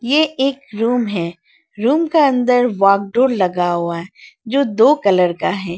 ये एक रूम है रूम का अंदर वॉकडोर लगा हुआ है जो दो कलर का है।